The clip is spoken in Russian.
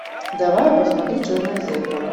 давай я посмотрю черное зеркало